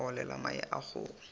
a olela mae a kgogo